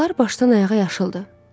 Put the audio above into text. Qurbağalar başdan ayağa yaşıldır.